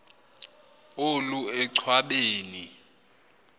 olu enchwa beni